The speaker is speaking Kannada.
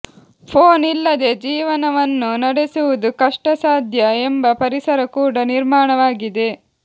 ಫೋನ್ ಇಲ್ಲದೆ ಜೀವನವನ್ನು ನಡೆಸುವುದು ಕಷ್ಟಾಸಾಧ್ಯ ಎಂಬ ಪರಿಸರ ಕೂಡ ನಿರ್ಮಾಣವಾಗಿದೆ